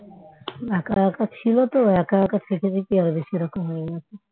এক এক ছিল তো এক এক থেকে বেশি আরো বেশি এরকম হয়ে গেছে